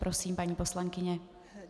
Prosím, paní poslankyně.